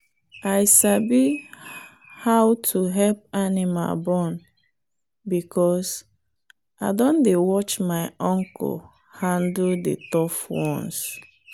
i sabi how to help animal born because i don dey watch my uncle handle the tough ones